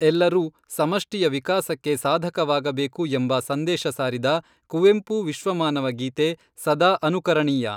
ಎಲ್ಲರೂ ಸಮಷ್ಟಿಯ ವಿಕಾಸಕ್ಕೆ ಸಾಧಕವಾಗಬೇಕು ಎಂಬ ಸಂದೇಶ ಸಾರಿದ ಕುವೆಂಪು ವಿಶ್ವಮಾನವ ಗೀತೆ ಸದಾ ಅನುಕರಣೀಯ